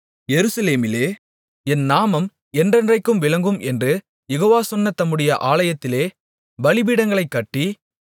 எருசலேமிலே என் நாமம் என்றென்றைக்கும் விளங்கும் என்று யெகோவா சொன்ன தம்முடைய ஆலயத்திலே பலிபீடங்களைக் கட்டி